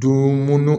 Don mun